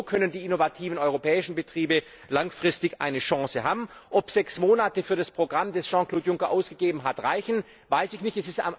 Denn nur so können die innovativen europäischen Betriebe langfristig eine Chance haben. Ob sechs Monate für das Programm, das Jean Claude Juncker ausgegeben hat, reichen, weiß ich nicht.